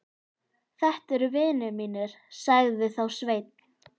Þetta eru vinir mínir, sagði þá Sveinn.